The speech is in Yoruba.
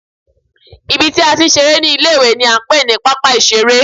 Ibi tí a ti ń ṣeré ní ilé ìwé ni à ń pè ní pápá ìṣeré